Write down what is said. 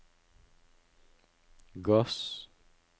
gass